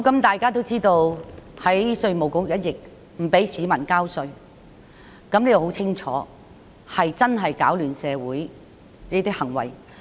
大家也知道，有人在稅務局一役中不准市民交稅，這很清楚是攪亂社會的行為。